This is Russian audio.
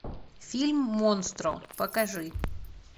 фильм монстро покажи